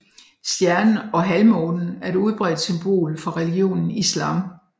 Stjernen og halvmånen er et udbredt symbol for religionen islam